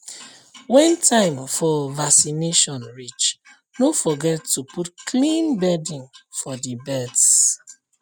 when time for vaccination reach no forget to put clean bedding for the birds